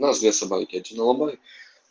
нас две собаки алабай